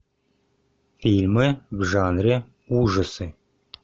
фильмы в жанре ужасы